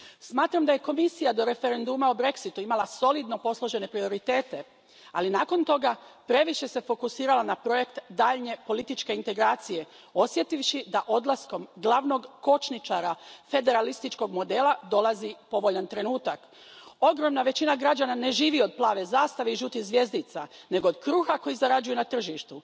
Smatram da je Komisija do referenduma o Brexitu imala solidno posložene prioritete, ali nakon toga previše se fokusirala na projekt daljnje političke integracije, osjetivši da odlaskom glavnog kočničara federalističkog modela dolazi povoljan trenutak. Ogromna većina građana ne živi od plave zastave i žutih zvjezdica, nego od kruha koji zarađuju na tržištu.